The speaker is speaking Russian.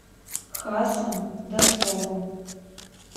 хасом донцовым